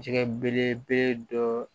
Jɛgɛ belebele dɔ